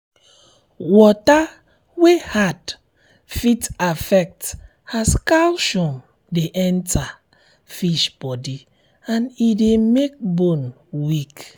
water wey hard fit affect as calcium de enter um fish boody and e de make bone weak